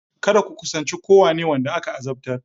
Kada ku kusanci kowane wanda aka azabtar!